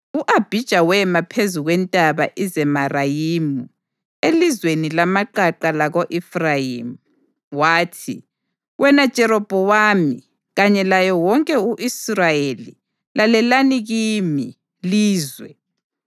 U-Abhija wema phezu kweNtaba iZemarayimu, elizweni lamaqaqa lako-Efrayimi, wathi: “Wena Jerobhowamu kanye laye wonke u-Israyeli, lalelani kimi, lizwe!